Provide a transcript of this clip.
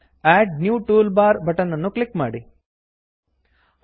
ಅಡ್ new toolbar add new toolbar button ಅನ್ನು click ಮಾಡಿ